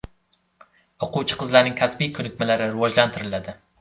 O‘quvchi-qizlarning kasbiy ko‘nikmalari rivojlantiriladi.